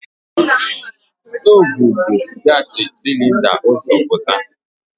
Stoovu bu gaasi silinda ụzọ pụta.